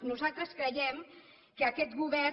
nosaltres creiem que aquest govern